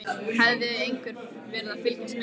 Hafði einhver verið að fylgjast með henni?